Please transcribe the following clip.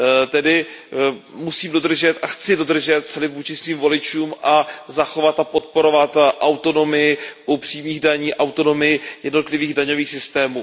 Tedy musím dodržet a chci dodržet slib vůči svým voličům a zachovat a podporovat autonomii u přímých daní, autonomii jednotlivých daňových systémů.